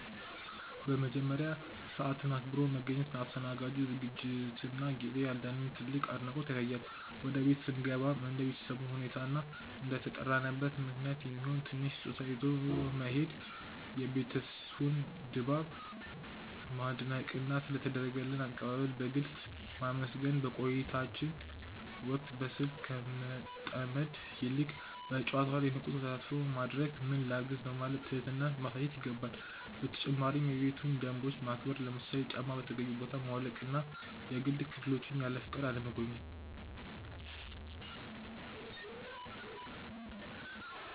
በመጀመሪያ፣ ሰዓትን አክብሮ መገኘት ለአስተናጋጁ ዝግጅትና ጊዜ ያለንን ትልቅ አድናቆት ያሳያል። ወደ ቤት ስንገባም እንደ ቤተሰቡ ሁኔታ እና እንደተጠራንበት ምክንያት የሚሆን ትንሽ ስጦታ ይዞ መሄድ፣ የቤቱን ድባብ ማድነቅና ስለ ተደረገልን አቀባበል በግልጽ ማመስገን። በቆይታችን ወቅትም በስልክ ከመጠመድ ይልቅ በጨዋታው ላይ ንቁ ተሳትፎ ማድረግና "ምን ላግዝ?" በማለት ትህትናን ማሳየት ይገባል። በተጨማሪም የቤቱን ደንቦች ማክበር፣ ለምሳሌ ጫማን በተገቢው ቦታ ማውለቅና የግል ክፍሎችን ያለፈቃድ አለመጎብኘት።